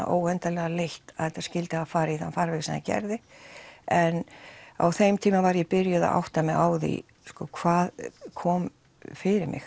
óendanlega leitt að þetta skildi hafa farið í þann farveg sem það gerði en á þeim tíma var ég byrjuð að átta mig á því hvað kom fyrir mig